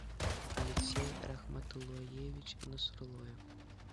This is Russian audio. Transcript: алексей рахматулоевич насрулоев